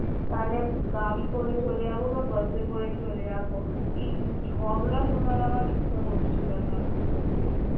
তাহলে গাড়ি করে চলে যাবো বা bus এ করে চলে যাবো এই ঝগড়া শোনার আমার ইচ্ছা করছিলনা আমার একদম